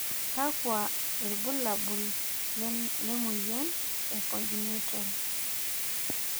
kakua irbulabol le moyian e Congenital?